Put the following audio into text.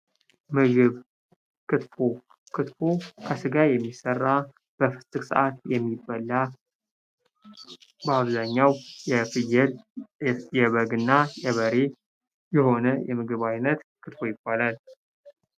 ምግብ ክትፎ፤ ክትፎ ከስጋ የሚሠራ በፍሰክ ሰዓት የሚበላው በአብዛኛው የፍየል፣ የበግ ና የበሬ የሆነ የምግብ ዓይነት ክትፎ ይባላል።